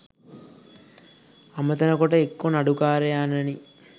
අමතන කොට එක්කෝ නඩුකාරයාණෙනි